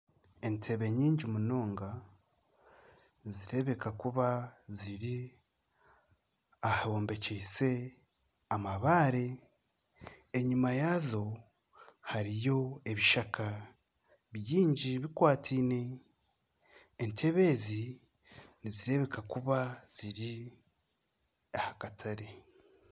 Entebbe nyingi munonga nizireebeka kuba ziri ahombekyise amabaare enyuma yaazo hariyo ebishaka bingi bikwataine entebbe ezi nizireebeka kuba ziri aha katare.